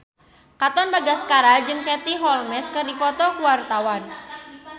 Katon Bagaskara jeung Katie Holmes keur dipoto ku wartawan